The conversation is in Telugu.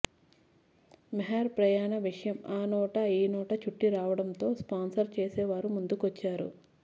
మెహెర్ ప్రయాణ విషయం ఆ నోటా ఈ నోటా చుట్టిరావడంతో స్పాన్సర్ చేసేవారూ ముందుకొచ్చారు